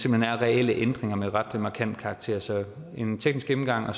hen er reelle ændringer af ret markant karakter så efter en teknisk gennemgang er